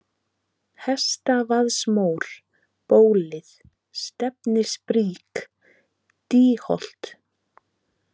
Hestavaðsmór, Bólið, Stefnisbrík, Dýholt